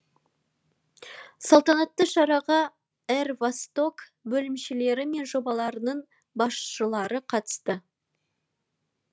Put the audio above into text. салтанатты шараға р восток бөлімшелері мен жобаларының басшылары қатысты